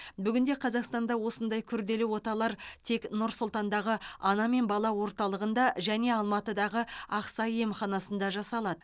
бүгінде қазақстанда осындай күрделі оталар тек нұр сұлтандағы ана мен бала орталығында және алматыдағы ақсай емханасында жасалады